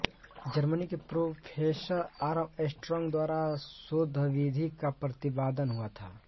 Germany के professor Armstrong द्वारा शोधविधि का प्रतिपादन हुआ था